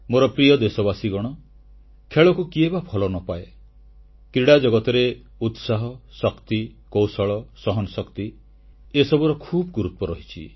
ମୋର ପ୍ରିୟ ଦେଶବାସୀଗଣ ଖେଳକୁ କିଏ ବା ଭଲ ନ ପାଏ କ୍ରୀଡ଼ା ଜଗତରେ ଉତ୍ସାହ ଶକ୍ତି କୌଶଳ ସହନଶକ୍ତି ଏସବୁର ଖୁବ୍ ଗୁରୁତ୍ୱ ରହିଛି